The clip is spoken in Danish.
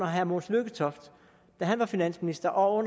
herre mogens lykketoft var finansminister og